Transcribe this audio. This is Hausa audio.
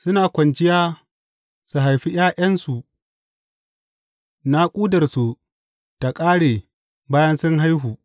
Suna kwanciya su haifi ’ya’yansu; naƙudarsu ta ƙare bayan sun haihu.